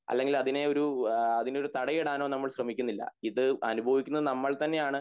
അല്ലെങ്കിൽ അതിനെ ഒരു എഹ് അതിനൊരു തടയിടാനോ നമ്മൾ ശ്രെമിക്കുന്നില്ല ഇത് അനുഭവിക്കുന്നത് നമ്മൾതന്നെയാണ്